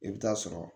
I bɛ taa sɔrɔ